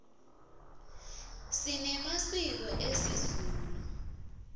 sinemasiko esizulu